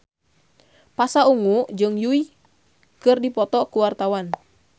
Pasha Ungu jeung Yui keur dipoto ku wartawan